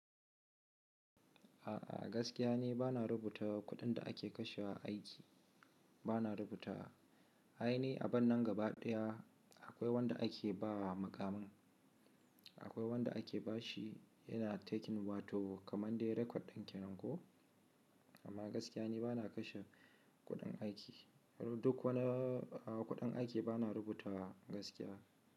A'a, gaskiya ni bana rubuta kuɗin da ake kashe wa a aiki bana rubutawa. A aini abun nan gaba ɗaya akwai wanda ake ba wa mukamin, akwai wanda ake bashi yana taking wato kamar dai record ɗin ke nan ko, amma gaskiya ni bana kashe kuɗin aiki. Duk wani a kuɗin aiki bana rubutawa gaskiya.